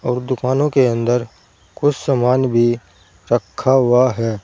और दुकानों के अंदर कुछ सामान भी रखा हुआ है।